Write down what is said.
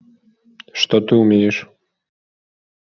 что ты умеешь